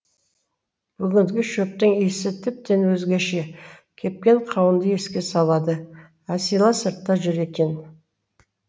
бүгінгі шөптің иісі тіптен өзгеше кепкен қауынды еске салады әсила сыртта жүр екен